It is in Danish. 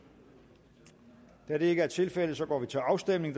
da det ikke er tilfældet går vi til afstemning